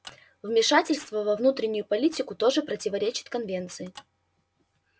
вмешательство во внутреннюю политику тоже противоречит конвенции